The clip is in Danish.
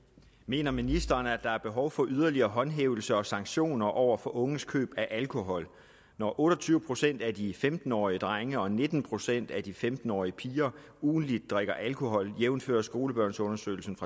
mener ministeren at der er behov for yderligere håndhævelse og sanktioner over for unges køb af alkohol når otte og tyve procent af de femten årige drenge og nitten procent af de femten årige piger ugentligt drikker alkohol jævnfør skolebørnsundersøgelsen